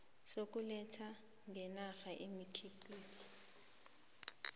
sokuletha ngenarheni imikhiqizo